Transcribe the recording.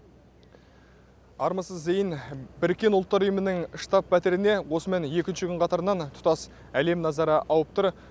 армысыз зейін біріккен ұлттар ұйымының штаб пәтеріне осымен екінші күн қатарынан тұтас әлем назары ауып тұр